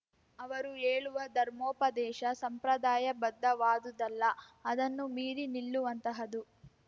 ಅವರು ಹೇಳುವ ಧರ್ಮೋಪದೇಶ ಸಂಪ್ರದಾಯಬದ್ಧವಾದುದಲ್ಲ ಅದನ್ನು ಮೀರಿ ನಿಲ್ಲುವಂತಹದು